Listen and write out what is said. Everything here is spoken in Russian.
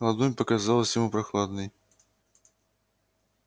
ладонь показалась ему прохладной